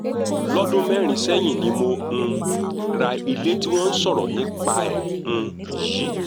lọ́dún mẹ́rin sẹ́yìn ni mo um ra ilé tí wọ́n ń sọ̀rọ̀ nípa ẹ̀ um yìí